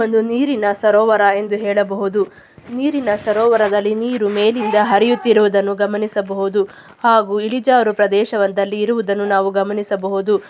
ಒಂದು ನೀರಿನ ಸರೋವರ ಎಂದು ಹೇಳಬಹುದು. ನೀರಿನ ಸರೋವರದಲ್ಲಿ ನೀರು ಮೇಲಿಂದ ಹರಿಯುತ್ತಿರುದನ್ನು ಗಮನಿಸಬಹುದು. ಹಾಗು ಇಳಿಜಾರು ಪ್ರದೇಶದಲ್ಲಿ ಇರುವುದನ್ನು ನಾವು ಗಮನಿಸಬಹುದು.